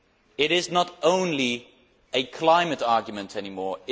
It is not only a climate argument any more.